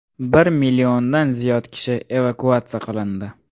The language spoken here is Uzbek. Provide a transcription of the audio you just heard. Bir milliondan ziyod kishi evakuatsiya qilindi.